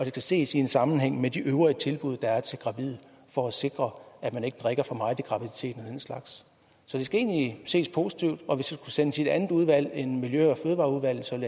skal ses i sammenhæng med de øvrige tilbud der er til gravide for at sikre at man ikke drikker for meget i graviditeten den slags så det skal egentlig ses positivt og hvis det sendes i et andet udvalg end miljø og fødevareudvalget